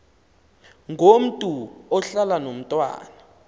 ngomntu ohlala nomntwana